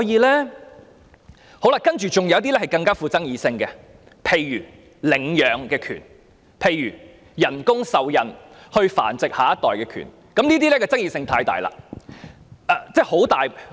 另外還有一些更富爭議性的問題，例如領養權、透過人工受孕繁殖下一代的權利，這些議題的爭議性實在很大。